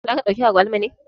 Za ka ɗauki agwaluman ne?